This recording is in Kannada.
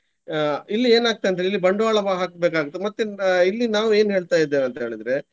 ಅಹ್ ಇಲ್ಲಿ ಏನಾಗ್ತದೆ ಅಂದ್ರೆ ಇಲ್ಲಿ ಬಂಡ್ವಾಳ ಹಾಕ್ಬೇಕಾಗ್ತದೆ ಮತ್ತೆ ಇಲ್ಲಿ ನಾವು ಏನ್ ಹೇಳ್ತಾ ಇದ್ದೇವೆ ಅಂತ ಹೇಳಿದ್ರೆ.